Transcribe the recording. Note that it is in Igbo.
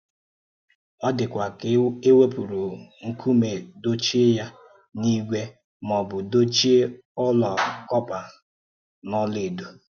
Ó dịkwa ka e wepùrù̀ nkume dochíè ya n’ígwè, ma ọ̀ bụ̀ dochíè ọ́la kọ́pà n’ọ́la èdò.